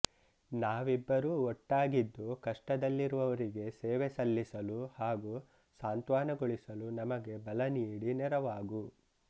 ನಾವಿಬ್ಬರೂ ಒಟ್ಟಾಗಿದ್ದು ಕಷ್ಟದಲ್ಲಿರುವವರಿಗೆ ಸೇವೆ ಸಲ್ಲಿಸಲು ಹಾಗು ಸಾಂತ್ವನಗೊಳಿಸಲು ನಮಗೆ ಬಲ ನೀಡಿ ನೆರವಾಗು